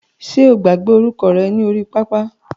Ṣe o gbàgbé orúkọ rẹ ní orí pápá?